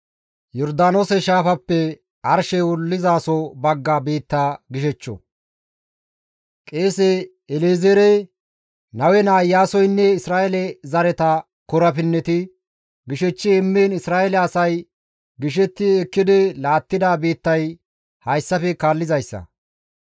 Qeese El7ezeerey, Nawe naa Iyaasoynne Isra7eele zareta korapinneti gishechchi immiin Isra7eele asay gishetti ekkidi laattida biittay hayssafe kaallizayssa.